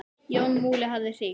Jón Múli hafði hringt.